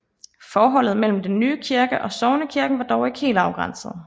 Forholdet mellem den nye kirke og sognekirken var dog ikke helt afgrænset